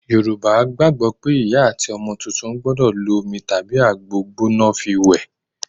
Yorùbá gbàgbó pé ìyá àti ọmọ tuntun gbọ́dọ̀ lo omi tàbí àgbo gbóná fi wẹ.